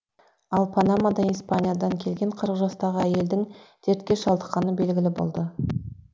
ал панадама испаниядан келген қырық жастағы әйелдің дертке шалдыққаны белгілі болды